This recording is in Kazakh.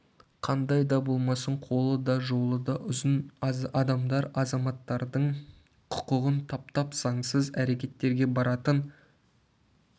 қандай да болмасын қолы да жолы да ұзын адамдар азаматтардың құқығын таптап заңсыз әрекеттерге баратын